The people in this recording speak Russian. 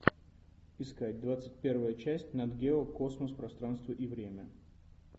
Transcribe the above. искать двадцать первая часть нат гео космос пространство и время